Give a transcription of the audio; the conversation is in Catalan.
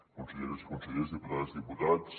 conselleres i consellers diputades diputats